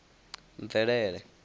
mvelele